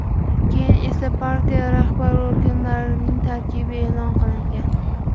Keyin esa partiya rahbar organlarining tarkibi e’lon qilingan.